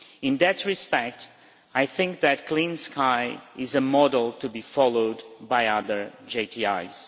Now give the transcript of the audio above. In that respect, I think that Clean Sky is a model to be followed by other JTIs.